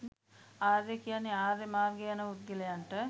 ආර්ය කියන්නේ ආර්ය මාර්ගයේ යන පුද්ගලයින්ට.